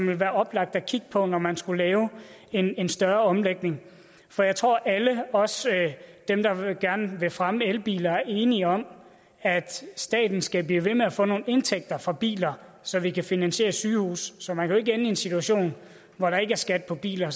vil være oplagt at kigge på når man skulle lave en en større omlægning for jeg tror at alle også dem der gerne vil fremme elbiler er enige om at staten skal blive ved med at få nogle indtægter for biler så vi kan finansiere sygehuse så man kan jo en situation hvor der ikke er skat på biler